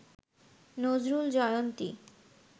Nazrul Jayanti